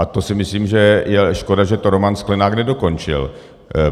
A to si myslím, že je škoda, že to Roman Sklenák nedokončil.